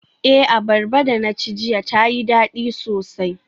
Eh, abarba da na ci jiya tayi dadi sosai.